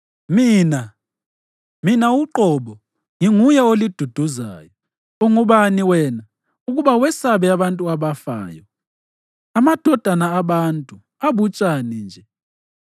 “Mina, mina uqobo, nginguye oliduduzayo. Ungubani wena ukuba wesabe abantu abafayo, amadodana abantu, abutshani nje,